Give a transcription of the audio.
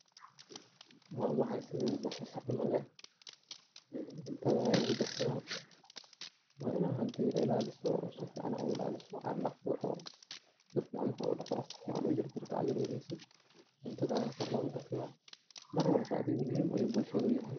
wa waxa sidi basasha camal eh, een cuntada aya lugu darsada, waa ina hindi ilaaliso oo sifican u ilaaliso aa dhaqdo oo si fican marka udhaqdo si ficcan ujarjarto ad yaryareyso cuntada aya kor loga darsada mar walba adi muhiim ayu bulshada uyahay